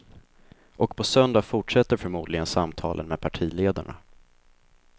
Och på söndag fortsätter förmodligen samtalen med partiledarna.